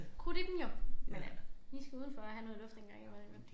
Krudt i dem jo men øh de skal udenfor og have noget luft en gang imellem jo